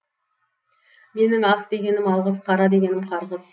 менің ақ дегенім алғыс қара дегенім қарғыс